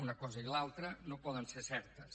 una cosa i l’altra no poden ser certes